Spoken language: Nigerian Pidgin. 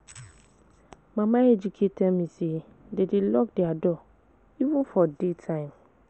Mama Ejike tell me say dem dey lock their door even for day time